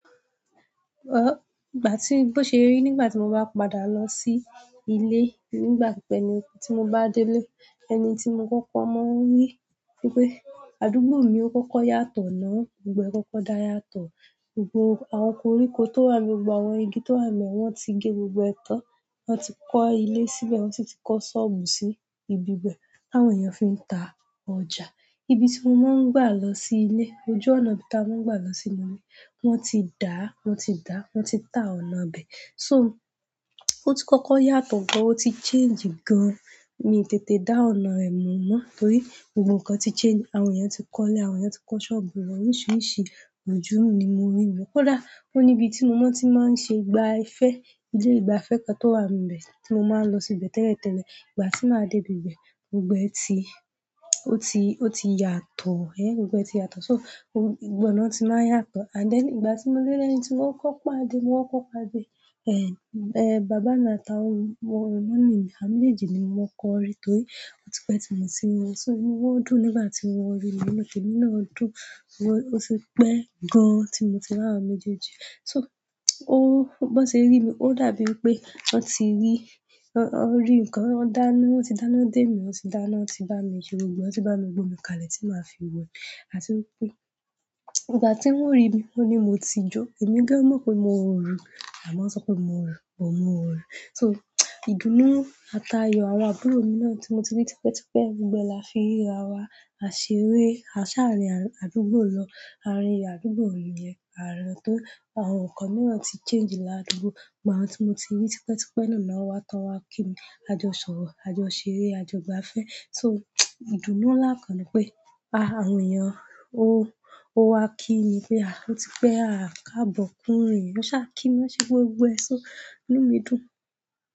Igbati bo se ri ni ìgbàtí ba padà losi ile ìgbà ti mo ba dele ẹni ti mo koko maa n ri wípé àdúgbòmi o koko yàtọ̀ náà gbogbo e kókó da yàtọ̀. Gbogbo àwọn koríko tó wà níbẹ̀, gbogbo àwọn igi tó wà níbẹ̀ wọ́n ti gẹ gbogbo wọn tán. Wọ́n ti kọ́ ilé síbẹ̀, wọ́n tun ti kọ́ ṣọ́ọ̀bù sí ibi bẹ̀. Àwọn èèyàn fi ń ta ọjà. Ibi tí mo máa ń gbà lọ sí ilé, ojú ọ̀nà bí ta mo máa ń gbà lọ síbí, wọ́n ti dá, wọ́n ti dá, wọ́n ti tà ọ̀nà bẹ. So, o ti kọ́kọ́ yàtọ̀ gan, o ti change gan. Èmi tètè dá ọ̀nà rẹ̀ mọ̀ mọ́, torí gbogbo nǹkan ti change. Àwọn èèyàn ti kọ́lé, àwọn èèyàn ti kọ́ ṣọ́ọ̀bù, àwọn oríṣiríṣi ojú ni mo rí níbẹ̀. Kódà ó ní ibi tí mo mọ̀ tí màá ń ṣe gbá ifẹ́, ilé ìgbafẹ́ kan tó wà níbẹ̀ tí mo máa ń lọ síbẹ̀ tẹ́lẹ̀tẹ́lẹ̀. Ìgbà tí màá dé ibi bẹ̀, gbogbo ẹ ti, ó ti, ó ti yàtọ̀ ẹ. Gbogbo ẹ ti yàtọ̀. So gbogbo ọ̀nà ti maa yàtọ̀ and then ìgbà tí mo dele na ti mo koko pàdé mo koko pàdé e baba àti egbon mi àwọn méjèèjì ni ḿo koko ri torí o ti pe ti moti ri wọn. Ìnuwọn dún nígbà tí wọ́n ri mi inú. Temi náà dùn. Wọ́n, ó ti pẹ́ gan tí mo ti ra áwon méjèèjì. So, o, bó ṣe rí mi, ó dàbí ẹ pé wọ́n ti rí, wọ́n rí ǹkan. Wọ́n dáná, wọ́n ti dáná dé mi, wọ́n ti dáná, wọ́n ti bá mi jo gbogbo, wọ́n ti bá mi gbo mi kalẹ̀ tí màá fi wẹ̀. Àti wípé ìgbà tí wọ́n rí mi, wọ́n ní mo ti jó. Ẹ̀mi gan mọ̀ pé mo ń orun, àmọ́ wọ́n sọ pé mo ń orun, mo ń orun. So, ìdùnnú àtayọ àwọn àbúrò mi náà tí mo ti rí tipẹ́tipẹ́, gbogbo ẹ la fi ríra wa, a ṣeré, a ṣàrìn àdúgbò lọ. Àrin àdúgbò ni yẹn. Àwọn nkán miran ti change ladugbo. Gbogbo àwọn tí mo ti rí tipẹ́tipẹ́ náà wá tọ́ wa kí ni ajọṣọ̀rọ́, ajọṣeré, ajọgbafẹ́. So, ìdùnnú ńlá kan ni pé a, àwọn èèyàn ó, ó wá kí mi pé a, ó ti pẹ́ a kàbọ̀ kúnrin. Wọ́n ṣà kí mi, wọ́n ṣe gbogbo è so, inú mi dùn.